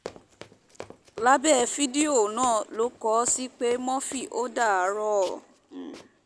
lábẹ́ fídíò náà lọ kó o sì pe murphy ò dárò